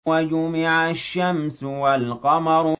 وَجُمِعَ الشَّمْسُ وَالْقَمَرُ